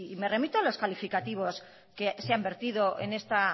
me remito a los calificativos que se han vertido en esta